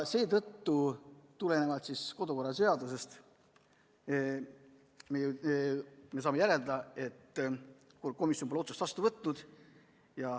Seetõttu saame meie kodukorra seaduse põhjal järeldada, et komisjon pole otsust vastu võtnud.